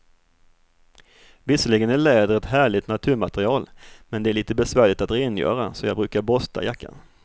Visserligen är läder ett härligt naturmaterial, men det är lite besvärligt att rengöra, så jag brukar borsta jackan.